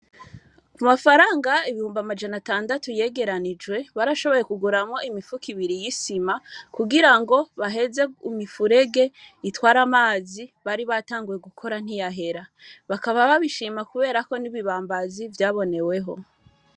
Amafaranga ibihumbi amajana atandatu yegeranijwe, barashoboye kuguramwo imifuko ibiri y'isima, kugira ngo baheze imifurege itwara amazi, baribatanguye gukora ntiyahera; bakaba babishima kubera ko n'ibibambazi vyaboneweho.